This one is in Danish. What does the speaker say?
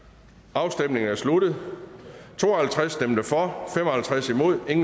afstemningen er sluttet for to og halvtreds imod